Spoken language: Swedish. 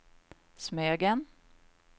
Smögen